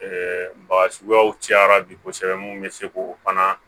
baga suguyaw cayara bi kosɛbɛ mun be se k'o fana